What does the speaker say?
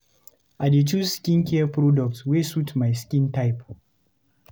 I dey choose skincare products wey suit my skin type.